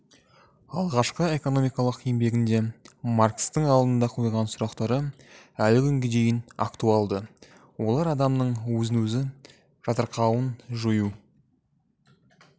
алғашқы экономикалық еңбегінде маркстің алдына қойған сұрақтары әлі күнге дейін актуалды олар адамның өзін-өзі жатырқауын жою